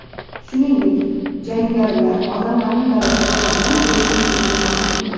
Shuningdek, jangarilar odamlarni garovga olgan bo‘lishi mumkinligini ma’lum qildi.